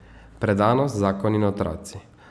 Predanost, zakon in otroci.